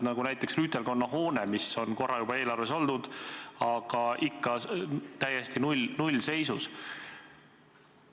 Näiteks Eestimaa rüütelkonna hoone on korra juba eelarves olnud, aga ikka on see täiesti nullseisus.